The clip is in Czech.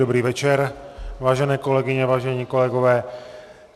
Dobrý večer, váženém kolegyně, vážení kolegové.